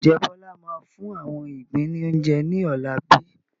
Ǹjẹ́ Bọlá máa fún àwọn igbin ni oúnjẹ ní ọ̀la bíi?